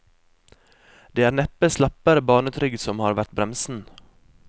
Det er neppe slappere barnetrygd som har vært bremsen.